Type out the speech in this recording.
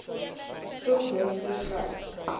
spoeg monsters slym